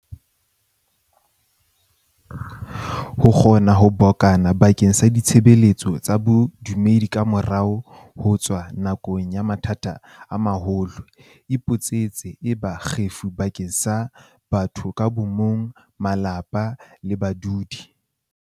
Ho kgona ho bokana ba keng sa ditshebeletso tsa bodumedi kamora ho tswa nakong ya mathata a maholo, e boetse e ba kgefu bakeng sa batho ka bo mong, malapa le badudi.